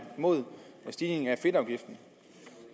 imod stigningen af fedtafgiften